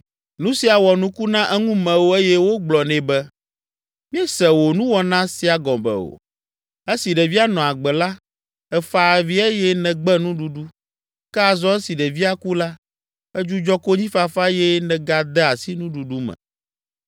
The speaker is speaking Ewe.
Nu sia wɔ nuku na eŋumewo eye wogblɔ nɛ be, “Míese wò nuwɔna sia gɔme o. Esi ɖevia nɔ agbe la, èfa avi eye nègbe nuɖuɖu, ke azɔ esi ɖevia ku la, èdzudzɔ konyifafa eye nègade asi nuɖuɖu me.”